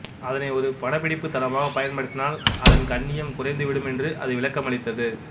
அதனை ஒரு படப்பிடிப்பு தளமாகப் பயன்படுத்தினால் அதன் கண்ணியம் குறைந்து விடும் என்று அது விளக்கமளித்தது